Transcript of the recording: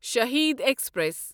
Shaheed express